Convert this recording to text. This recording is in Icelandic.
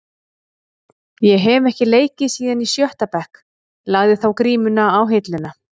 Ég hef ekki leikið síðan í sjötta bekk, lagði þá grímuna á hilluna.